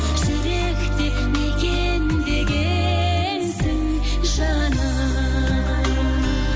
жүректе мекендегенсің жаным